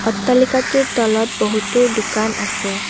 অট্টালিকাটোৰ তলত বহুতো দোকান আছে।